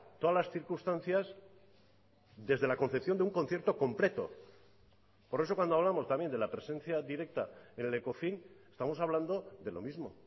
todas las circunstancias desde la concepción de un concierto completo por eso cuando hablamos también de la presencia directa en el ecofin estamos hablando de lo mismo